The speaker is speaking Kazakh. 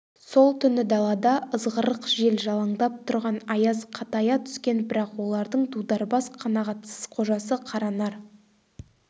сол түні далада ызғырық жел жалаңдап тұрған аяз қатая түскен бірақ олардың дударбас қанағатсыз қожасы қаранар